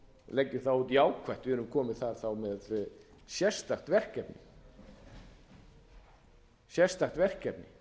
leggjum það út jákvætt við erum komin þar þá með sérstakt verkefni